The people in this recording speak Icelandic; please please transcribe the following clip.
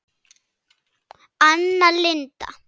Anna Linda.